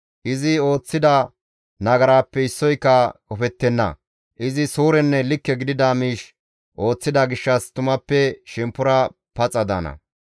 Izi ooththida nagarappe issoyka qofettenna; izi suurenne likke gidida miish ooththida gishshas tumappe shemppora paxa daana.